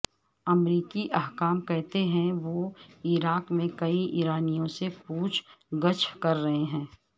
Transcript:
امریکی حکام کہتے ہیں وہ عراق میں کئی ایرانیوں سے پوچھ گچھ کر رہے ہیں